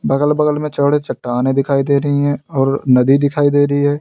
बगल बगल में चौड़े चट्टानें दिखाई दे रही हैं और नदी दिखाई दे रही है।